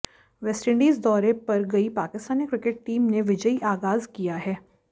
West Indies दौरे पर गई पाकिस्तानी क्रिकेट टीम ने विजयी आगाज किया है